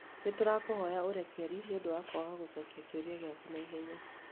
Nĩ tũrakũhoya ũrekeri nĩ ũndũ wa kwaga gũcokia kĩũria gĩaku na ihenya.